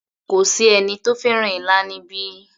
Kò sí ẹni tó fẹ́ràn ilá níbí